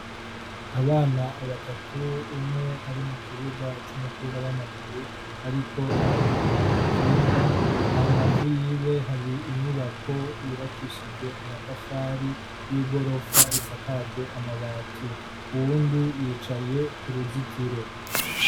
Abana batatu umwe ari mu kibuga c'umupira w'amaguru ariko aranyonga ikinga, hambavu yiwe hari inyubako yubakishije amatafari y'igorofa isakajwe amabati, uwundi yicaye ku ruzitiro.